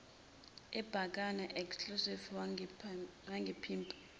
abhekana exactly wangimpimpa